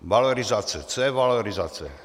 Valorizace - co je valorizace?